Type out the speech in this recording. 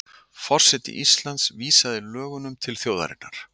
Forseti Íslands vísaði lögunum til þjóðarinnar